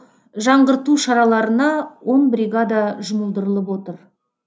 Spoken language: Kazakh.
жаңғырту шараларына он бригада жұмылдырылып отыр